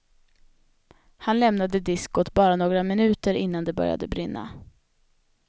Han lämnade diskot bara några minuter innan det började brinna.